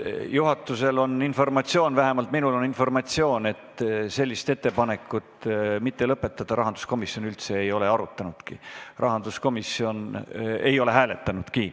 Juhatusel on informatsioon, vähemalt minul on informatsioon, et sellist ettepanekut, et mitte lõpetada, rahanduskomisjon üldse ei ole hääletanudki.